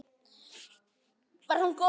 Var hún góð mamma?